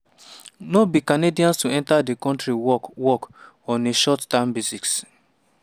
no be canadians to enta di kontri work work on a short-term basis.